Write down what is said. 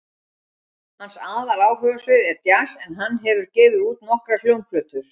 Hans aðaláhugasvið er djass en hann hefur gefið út nokkrar hljómplötur.